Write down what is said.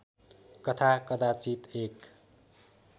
कथा कदाचित एक